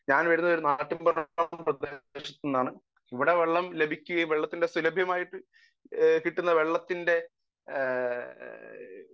speaker 1 ഞാൻ വരുന്നത് ഇവിടെ വെള്ളം ലഭിക്കുകയും വെള്ളത്തിന്റെ സുലഭമായിട്ടു കിട്ടുന്ന വെള്ളത്തിന്റെ